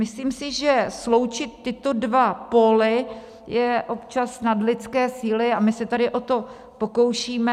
Myslím si, že sloučit tyto dva póly je občas nad lidské síly a my se tady o to pokoušíme.